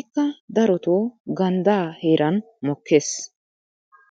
ikka darotoo ganddaa heeran mokkees.